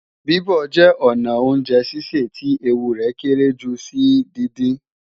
Bíbọ̀ jẹ́ ọnà oúnjẹ sísè tí ewu rẹ̀ kéré jùlọ sí díndín